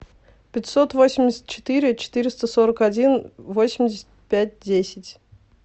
пятьсот восемьдесят четыре четыреста сорок один восемьдесят пять десять